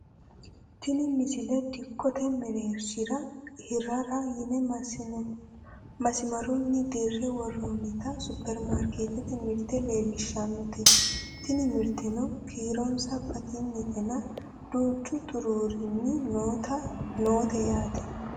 tini misile dikkote mereershira hirrara yine masimarunnin dirre worroonnita supperimarkeettete mirte leellishshannote tini mirteno kiironsa batinyetenna duuchu xuruurinni noote yaate